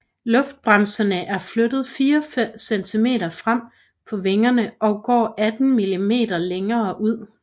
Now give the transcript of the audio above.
Luftbremserne er flyttet 4 cm frem på vingen og går 18 mm længere ud